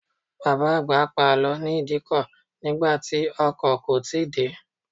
Bàbá àgbà pa àlọ́ ní Ìdíkọ̀ nígbà tí ọkọ̀ kò tíì dé.